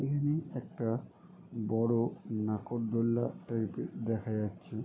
এখানে একটা বড়ো নাগর দোলনা টাইপের দেখা যাচ্ছে।